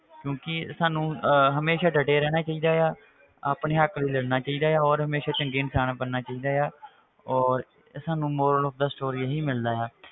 ਕਿਉਂਕਿ ਸਾਨੂੰ ਅਹ ਹਮੇਸ਼ਾ ਡਟੇ ਰਹਿਣਾ ਚਾਹਿਦਾ ਆ ਆਪਣੇ ਹੱਕ ਲਈ ਲੜਨਾ ਚਾਹੀਦਾ ਆ ਔਰ ਹਮੇਸ਼ਾ ਚੰਗੇ ਇਨਸਾਨ ਬਣਨਾ ਚਾਹੀਦਾ ਆ ਔਰ ਸਾਨੂੰ moral of the story ਇਹੀ ਮਿਲਦਾ ਆ,